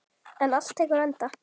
En allt tekur enda.